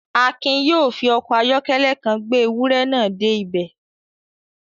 Akin yóò fi ọkọ̀ ayọ́kẹ́lẹ́ kan gbé ewúrẹ́ náà dé ibẹ̀